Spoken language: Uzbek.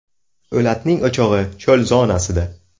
O‘latning o‘chog‘i cho‘l zonasida.